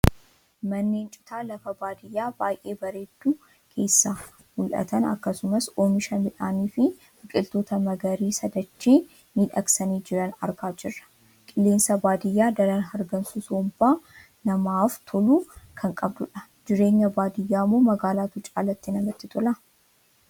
Manneen Citaa lafa baadiyaa baay'ee bareeddu keessaa mul'atan akkasumas Oomisha midhaanii fi biqiltoota magariisa dachee miidhagsanii jiran argaa jirra. Qilleensa baadiyaa daran hargansuu somba namaaf tolu kan qabdudha. Jireenya baadiyaa moo magaalaatu caalaatti namatti tola?